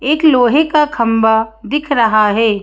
एक लोहे का खंबा दिख रहा है।